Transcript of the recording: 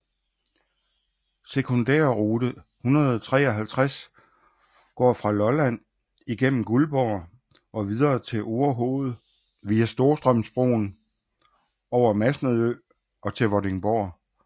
Sekundærrute 153 går fra Lolland igennem Guldborg og videre til Orehoved via Storstrømsbroen over Masnedø og til Vordingborg